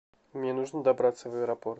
мне нужно добраться в аэропорт